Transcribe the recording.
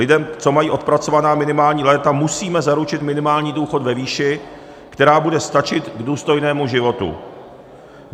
Lidem, co mají odpracovaná minimální léta, musíme zaručit minimální důchod ve výši, která bude stačit k důstojnému životu.